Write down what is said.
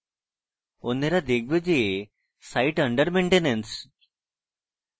অন্যেরা দেখবে যে site under maintenance